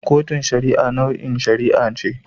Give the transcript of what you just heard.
Kotun Shari'a nau'in shari'a ce.